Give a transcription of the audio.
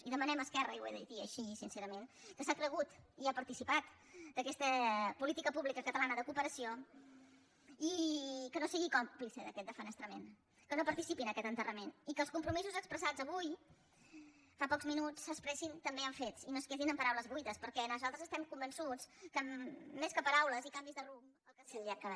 i demanem a esquerra i ho he de dir així sincerament que s’ha cregut i ha participat d’aquesta política pública catalana de cooperació que no sigui còmplice d’aquesta defenestració que no participi en aquest enterrament i que els compromisos expressats avui fa pocs minuts s’expressin també en fets i no es quedin en paraules buides perquè nosaltres estem convençuts que més que paraules i canvis de rumb